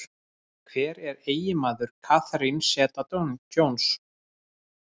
Hver er eiginmaður Catherine Zeta-Jones?